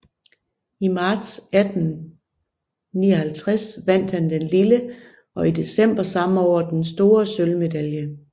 I marts 1859 vandt han den lille og i december samme år den store sølvmedalje